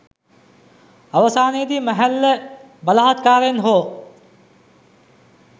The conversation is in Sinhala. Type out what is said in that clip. අවසානයේදී මැහැල්ල බලහත්කාරයෙන් හෝ